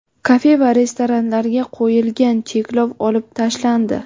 Kafe va restoranlarga qo‘yilgan cheklov olib tashlandi.